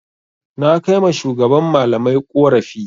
Na kai ma shugaban malamai ƙorafi.